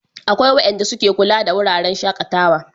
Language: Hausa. akwai wayanda su ke kula da wuraren shakatawa